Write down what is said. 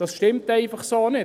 Das stimmt einfach so nicht.